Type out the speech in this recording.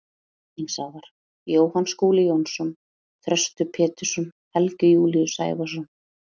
Vinningshafar: Jóhann Skúli Jónsson Þröstur Pétursson Helgi Júlíus Sævarsson